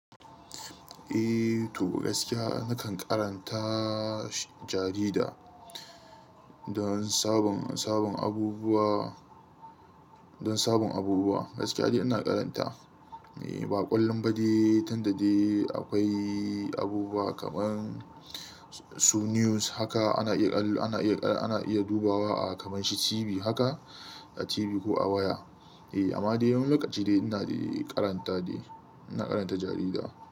Eh, to gaskiya nakan karanta jarida don sabon, sabon abubuwa, don sabon abubuwa gaskiya dai ina karanta. Eh, ba ƙallon ba dai, tinda dai akwai abubuwa kamar Su news haka ana iya, ana iya, ana iya dubawa a kamar shi TV haka, a TV ko a waya. Eh, amma dai yawanci dai ina karanta dai, ina karanta jarida.